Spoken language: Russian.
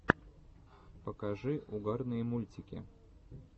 покажи угарные мультики